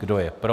Kdo je pro?